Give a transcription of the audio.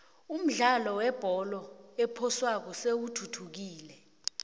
umdlalo webholo ephoswako seyithuthukile